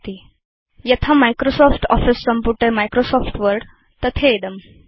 7 000027 000026 यथा Microsoft office सम्पुटे Microsoft Word तथेदम्